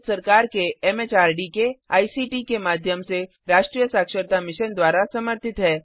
यह भारत सरकार के एमएचआरडी के आईसीटी के माध्यम से राष्ट्रीय साक्षरता मिशन द्वारा समर्थित है